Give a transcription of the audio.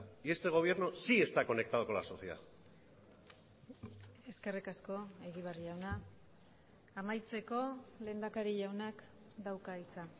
y este gobierno sí está conectado con la sociedad eskerrik asko egibar jauna amaitzeko lehendakari jaunak dauka hitza